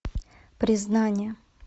признание